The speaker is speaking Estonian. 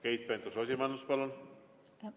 Keit Pentus-Rosimannus, palun!